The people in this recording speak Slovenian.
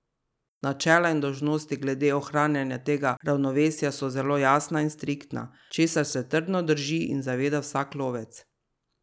Načela in dolžnosti glede ohranjanja tega ravnovesja so zelo jasna in striktna, česar se trdno drži in zaveda vsak lovec.